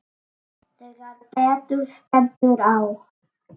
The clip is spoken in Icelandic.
Þegar betur stendur á